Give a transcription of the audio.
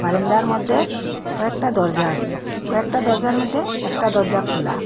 বারান্দার মদ্যে কয়েকটা দরজা আসে কয়েকটা দরজার মদ্যে একটা দরজা খুলা।